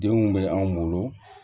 Denw bɛ anw bolo